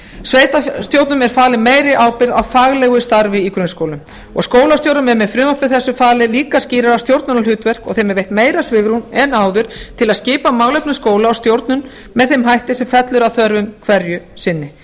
sveitarstjórnum er falin meiri ábyrgð á faglegu starfi í grunnskólum og skólastjórum er með frumvarpi þessu falið líka skýrara stjórnmálahlutverk og þeim er veitt meira svigrúm en áður til að skipa málefnum skóla og stjórnun með þeim hætti sem fellur að þörfum hverju sinni